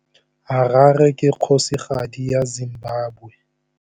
Harare ke kgosigadi ya Zimbabwe.